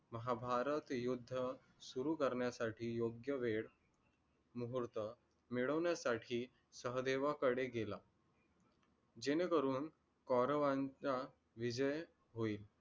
महाभारत युद्ध सुरु करण्यासाटी योग्य वेळ मुहूर्त मिळवण्यासटी सहदेवाकडे गेला. जेणेकरून कौरावांचा विजय होईल.